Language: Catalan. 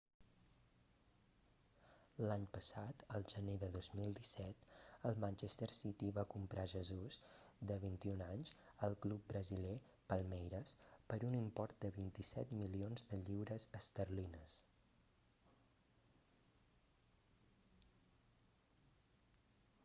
l'any passat el gener de 2017 el manchester city va comprar jesus de 21 anys al club brasiler palmeiras per un import de 27 milions de lliures esterlines